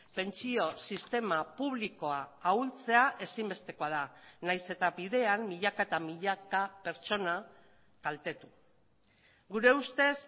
pentsio sistema publikoa ahultzea ezinbestekoa da nahiz eta bidean milaka eta milaka pertsona kaltetu gure ustez